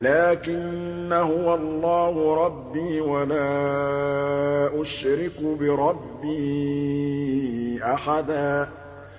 لَّٰكِنَّا هُوَ اللَّهُ رَبِّي وَلَا أُشْرِكُ بِرَبِّي أَحَدًا